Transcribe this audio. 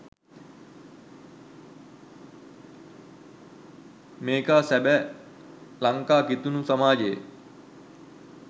මේකා සබැ ලංකා කිතුනු සමාජයේ